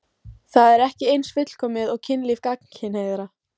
Það er ekki eins fullkomið og kynlíf gagnkynhneigðra.